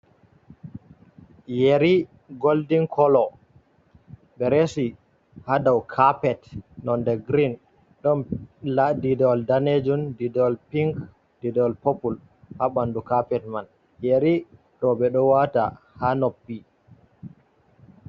Yeri goldin kolo, ɓe resi ha dau capet nonde grin, ɗon nda didawol danejun, didawol pink, didawol popul ha ɓanɗu capet man, yeri ɗo ɓe ɗo wata ha noppi.